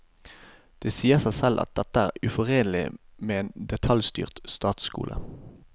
Det sier seg selv at dette er uforenlig med en detaljstyrt statsskole.